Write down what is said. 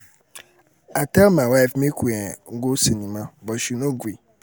i tell my wife make we um go cinema but she no gree